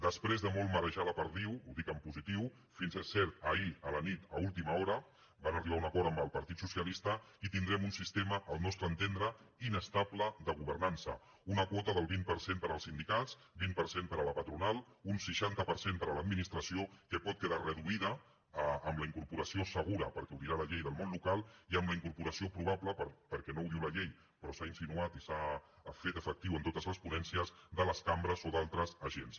després de molt marejar la perdiu ho dic en positiu fins és cert ahir a la nit a última hora no van arribar a un acord amb el partit socialista i tindrem un sistema al nostre entendre inestable de governança una quota del vint per cent per als sindicats vint per cent per a la patronal un seixanta per cent per a l’administració que pot quedar reduïda amb la incorporació segura perquè ho dirà la llei del món local i amb la incorporació probable perquè no ho diu la llei però s’ha insinuat i s’ha fet efectiu en totes les ponències de les cambres o d’altres agents